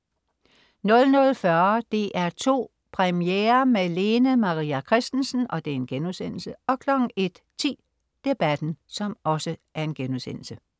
00.40 DR2 Premiere med Lene Maria Christensen* 01.10 Debatten*